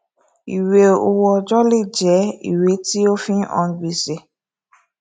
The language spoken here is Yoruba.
ìwé owó ọjọ lè jẹ ìwé tí ó fi hàn gbèsè